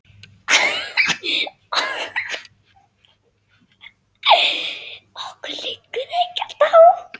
Okkur liggur ekkert á